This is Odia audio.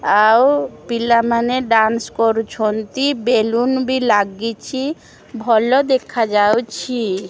ଆଉ ପିଲାମାନେ ଡାନ୍ସ କରୁଛନ୍ତି ବେଲୁନ ବି ଲାଗିଚି ଭଲ ଦେଖାଯାଉଛି।